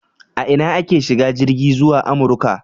A ina ake shiga jirgi zuwa Amurka?